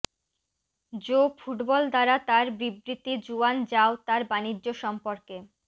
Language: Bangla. জো ফুটবল দ্বারা তার বিবৃতি জুয়ান যাও তার বাণিজ্য সম্পর্কে